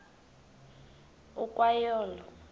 ukwa yo olo